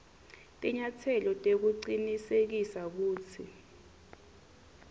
tinyatselo tekucinisekisa kutsi